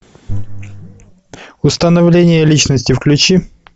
установление личности включи